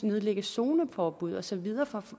nedlægge zoneforbud og så videre for